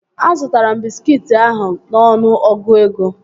Azụtara m bịskit ahụ n'ọnụ ọgụ ego